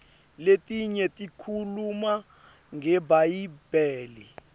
letinye tikhuluma ngebhayibheli